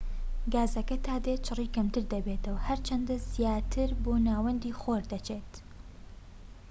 گازەکە تا دێت چڕی کەمتر دەبێتەوە هەر چەندە زیاتر بۆ ناوەندی خۆر دەچیت